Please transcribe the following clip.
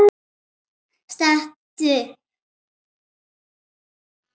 Stattu upp!